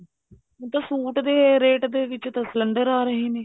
ਹੁਣ ਤਾਂ ਸੂਟ ਦੇ rate ਦੇ ਵਿੱਚ ਤਾਂ cylinder ਆ ਰਹੇ ਨੇ